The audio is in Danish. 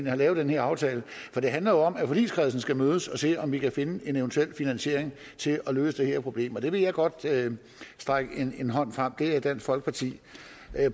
har lavet den her aftale for det handler jo om at forligskredsen skal mødes for at se om vi kan finde en eventuel finansiering til at løse det her problem og der vil jeg godt række en hånd frem for det er dansk folkeparti